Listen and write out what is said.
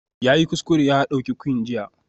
Yayi kuskure ya ɗauki Quinn jiya